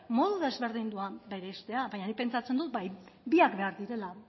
modu desberdinduan bereiztea baina nik pentsatzen dut bai biak behar direla